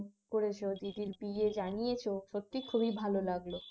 করেছ দিদির বিয়ে জানিয়েছ সত্যি খুবই ভালো লাগল